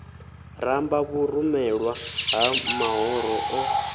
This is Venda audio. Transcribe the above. ramba vhurumelwa ha mahoro o